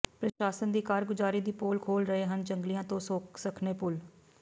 ਪ੍ਰਸ਼ਾਸਨ ਦੀ ਕਾਰਗੁਜ਼ਾਰੀ ਦੀ ਪੋਲ ਖੋਲ੍ਹ ਰਹੇ ਹਨ ਜੰਗਲਿਆਂ ਤੋਂ ਸੱਖਣੇ ਪੁਲ